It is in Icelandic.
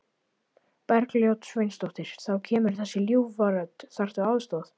Bergljót Sveinsdóttir: Þá kemur þessi ljúfa rödd, þarftu aðstoð?